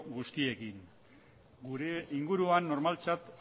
guztiekin gure inguruan normaltzat